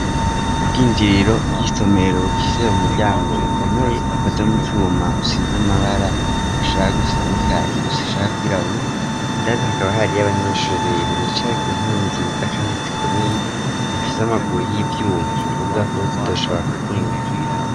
Ubw'injiriro by'isomero bufisee umuryango ukomeye ukoze mu cuma usize amabara ashaka gusa nikakiguse shaka kw'irahura indani hakaba hariy'abanyishure rero bicaye ku ntebe nziza kandi zikomeye zifise amaguru y'ivyuma ikuvuga ko zitoshobaa kuvunika.